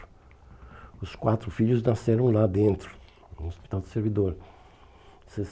Os quatro filhos nasceram lá dentro, no Hospital do Servidor.